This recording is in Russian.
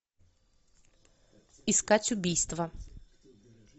искать убийство